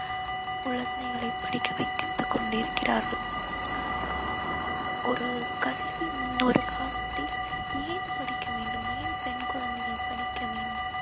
குழந்தைகளை படிக்க வைத்து கொண்டிருக்கிரார்கள். ஒரு கல்வி முன்னொரு காலத்தில் ஏன் படிக்க வேண்டும் ஏன் பெண் குழந்தைகள் படிக்க வேண்டும்